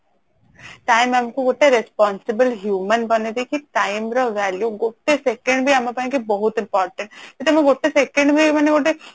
time ଆମକୁ ଗୋଟେ responsible human ବନେଇ ଦେଇଛି time ର value ଗୋଟେ second ବି ଆମ ପାଇଁ କି ବହୁତ important ସେଇଟା ବି ଗୋଟେ second ବି ମାନେ ଗୋଟେ